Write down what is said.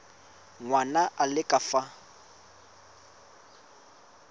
ngwana a le ka fa